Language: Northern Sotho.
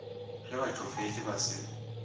ge ba tšofetše ba se